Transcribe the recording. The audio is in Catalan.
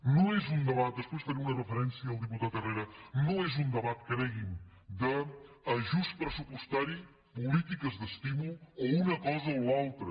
no és un debat després faré una referència al diputat herrera cregui’m d’ajust pressupostari polítiques d’estímul o una cosa o l’altra